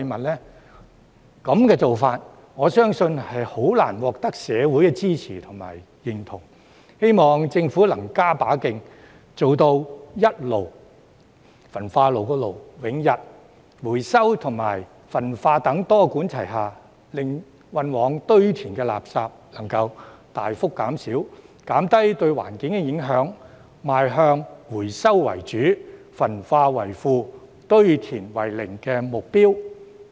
這種做法，我相信難以獲社會的支持和認同，希望政府能加把勁，做到一"爐"永逸，回收與焚化等多管齊下，令運往堆填的垃圾能大幅減少，減低對環境的影響，邁向"回收為主，焚化為輔，堆填為零"的目標。